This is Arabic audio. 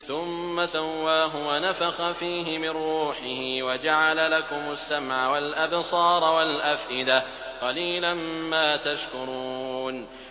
ثُمَّ سَوَّاهُ وَنَفَخَ فِيهِ مِن رُّوحِهِ ۖ وَجَعَلَ لَكُمُ السَّمْعَ وَالْأَبْصَارَ وَالْأَفْئِدَةَ ۚ قَلِيلًا مَّا تَشْكُرُونَ